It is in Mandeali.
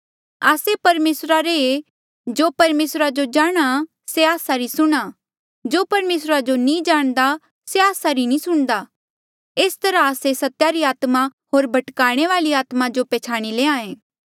आस्से परमेसरा रे ऐें जो परमेसरा जो जाणहां से आस्सा री सुणहां जो परमेसरा जो नी जाणदा से आस्सा री नी सुणदा एस तरहा आस्से सत्या री आत्मा होर भटकाणे वाली आत्मा जो प्छ्याणी लैंहां ऐें